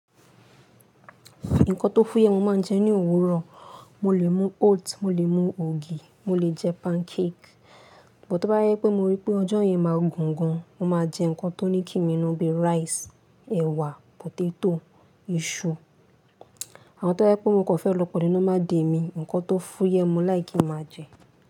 Nǹkan tó fúyẹ́ mo máa ń jẹ ní òwúrọ̀. Mo lè mú oats, mo lè mú ògì, mo lè jẹ pancake. Sugbon tó bá jẹ pé mo rí pé ọjọ́ yẹn máa gùn gan, mo máa jẹ nǹkan tó ní kí mi nù bíi rice, ẹ̀wà, potato, iṣu. Àwọn tó bá yẹ pé mo kò fẹ́ lọ pẹ̀lú normal day mí, nǹkan tó fúyẹ́ mo láì kí máa jẹ.